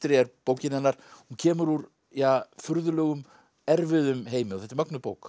er bókin hennar hún kemur úr furðulegum erfiðum heimi og þetta er mögnuð bók